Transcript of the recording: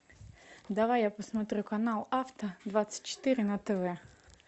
давай я посмотрю канал авто двадцать четыре на тв